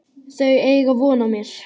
Þau eiga von á mér.